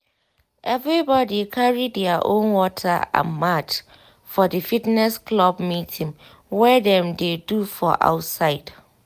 everybody carry their own water and mat for the fitness club meeting wey dem dey do for outside